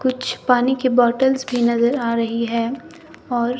कुछ पानी की बॉटल्स भी नजर आ रही है और--